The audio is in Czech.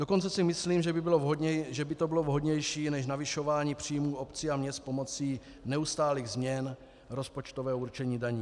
Dokonce si myslím, že by to bylo vhodnější než navyšování příjmů obcí a měst pomocí neustálých změn rozpočtového určení daní.